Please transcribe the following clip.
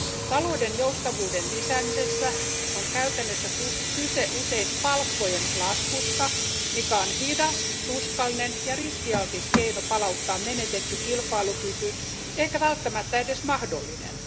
Talouden joustavuuden lisäämisessä on käytännössä kyse usein palkkojen laskusta, mikä on hidas, tuskallinen ja riskialtis keino palauttaa menetetty kilpailukyky, eikä välttämättä edes mahdollinen.